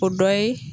O dɔ ye